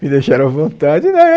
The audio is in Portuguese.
Me deixaram à vontade.